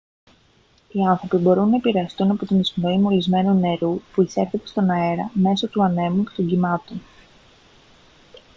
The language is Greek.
οι άνθρωποι μπορούν να επηρεαστούν από την εισπνοή μολυσμένου νερού που εισέρχεται στον αέρα μέσω του ανέμου και των κυμάτων